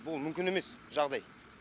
бұл мүмкін емес жағдай